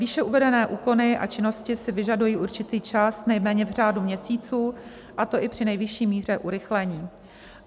Výše uvedené úkony a činnosti si vyžadují určitý čas nejméně v řádu měsíců, a to i při nejvyšší míře urychlení.